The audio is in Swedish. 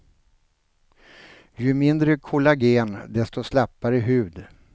Ju mindre kollagen, desto slappare hud.